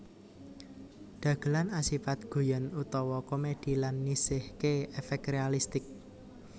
Dagelan asipat guyon utawa komedi lan nisihké efek realistik